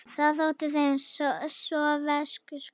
Það þótti þeim sovésku súrt.